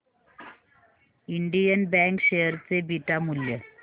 Indian Bank share चे beta मूल्य